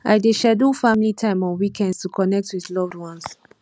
i dey schedule family time on weekends to connect with loved ones